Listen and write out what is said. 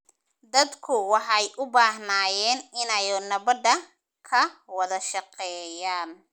Dadku waxay u baahnaayeen inay nabadda ka wada shaqeeyaan.